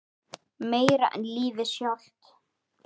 Meira en lífið sjálft.